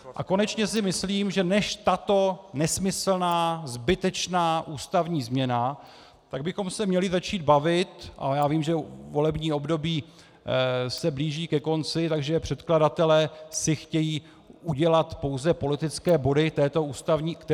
A konečně si myslím, že než tato nesmyslná zbytečná ústavní změna, tak bychom se měli začít bavit - a já vím, že volební období se blíží ke konci, takže předkladatelé si chtějí udělat pouze politické body k této ústavní změně.